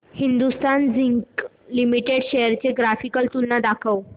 Hindustan zinc limited shares ची graphical तुलना दाखव